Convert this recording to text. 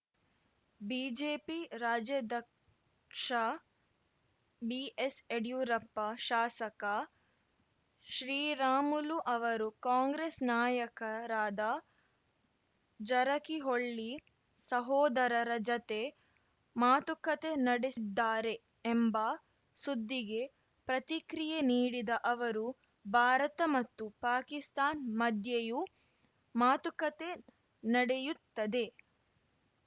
BJP ರಾಜ್ಯಾಧ್ಯಕ್ಷ ಬಿಎಸ್‌ಯಡಿಯೂರಪ್ಪ ಶಾಸಕ ಶ್ರೀರಾಮುಲು ಅವರು ಕಾಂಗ್ರೆಸ್‌ ನಾಯಕರಾದ ಜರಕಿಹೊಳ್ಳಿ ಸಹೋದರರ ಜತೆ ಮಾತುಕತೆ ನಡೆಸಿದ್ದಾರೆ ಎಂಬ ಸುದ್ದಿಗೆ ಪ್ರತಿಕ್ರಿಯೆ ನೀಡಿದ ಅವರು ಭಾರತ ಮತ್ತು ಪಾಕಿಸ್ತಾನ್ ಮಧ್ಯೆಯೂ ಮಾತುಕತೆ ನಡೆಯುತ್ತದೆ